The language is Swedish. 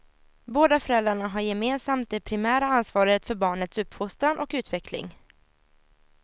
Båda föräldrarna har gemensamt det primära ansvaret för barnets uppfostran och utveckling.